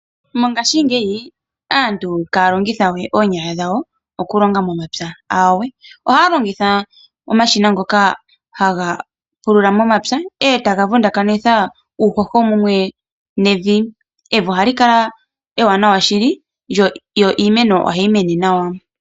Mongashingeyi aantu ihaya longitha we oonyala dhawo okulonga momapya. Aawe, ohaya longitha omashina ngoka haga pulula momapya e taya vundakanitha uuhoho mumwe nevi. Evi ohali kala ewanawa shili niimeno ohayi mene nawa.